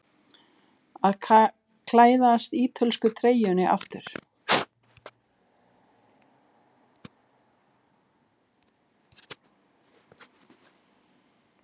Að klæðast ítölsku treyjunni aftur?